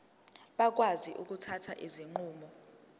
bakwazi ukuthatha izinqumo